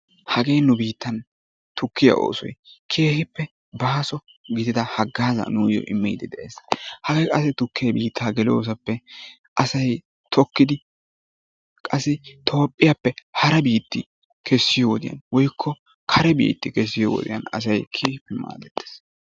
Hagee nu biittan tukkiya oosoy keehiippe baaso gidida hagaazaa nuuyo immidi de'ees. Hagee qassi tukke biittaa geloosappe asay tokkidi qassi toophphiyaappe hara biitti kessiyowodyan woikko kare biitti kessiyo wodiyan asay keehippe maaddettees.